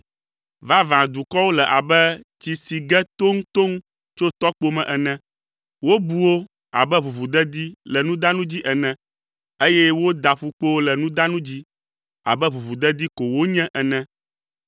Vavãe dukɔwo le abe tsi si ge toŋtoŋ tso tɔkpo me ene, wobu wo abe ʋuʋudedi le nudanu dzi ene, eye wòda ƒukpowo le nudanu dzi abe ʋuʋudedi ko wonye ene.